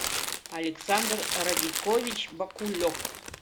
александр радикович бакулев